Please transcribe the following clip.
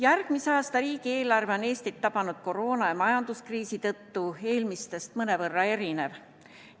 Järgmise aasta riigieelarve on Eestit tabanud koroona- ja majanduskriisi tõttu eelmistest mõnevõrra erinev.